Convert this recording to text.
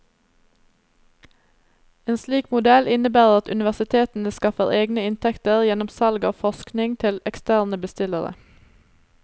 En slik modell innebærer at universitetene skaffer egne inntekter gjennom salg av forskning til eksterne bestillere.